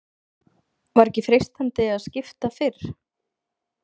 Var ekki freistandi að skipta fyrr?